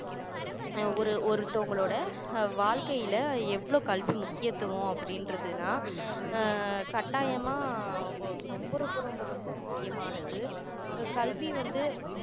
அஹ் ஒரு ஒரு ஒருத்தவங்களோட அஹ் வாழ்க்கையில எவ்வளோ கல்வி முக்கியத்துவம் அப்படின்றது தான் ஆஹ் கட்டாயமா ரொம்ப ரொம்ப ரொம்ப முக்கியமானது கல்வி வந்து